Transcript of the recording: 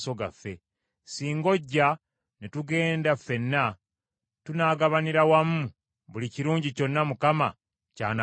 Singa ojja ne tugenda ffenna, tunaagabaniranga wamu buli kirungi kyonna Mukama ky’anaatuwanga.”